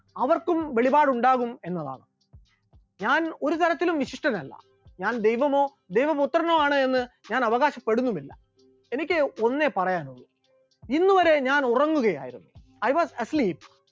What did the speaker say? അവർക്കും വെളിപാട് ഉണ്ടാകും എന്നതാണ്, ഞാൻ ഒരു തരത്തിലും വിശിഷ്ട്ടൻ അല്ല, ഞാൻ ദൈവമോ ദൈവ പുത്രനോ ആണ് എന്ന് ഞാൻ അവകാശപ്പെടുന്നുമില്ല, എനിക്ക് ഒന്നേ പറയാനൊള്ളൂ, ഇന്നുവരെ ഞാൻ ഉറങ്ങുകയായിരുന്നു, I was asleep